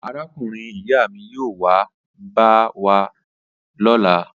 Arákùnrin-ìyá mi yóò wá bẹ̀ wá wò lọ́la.